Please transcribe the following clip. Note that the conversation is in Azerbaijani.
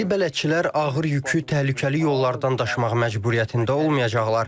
İndi bələdçilər ağır yükü təhlükəli yollardan daşımaq məcburiyyətində olmayacaqlar.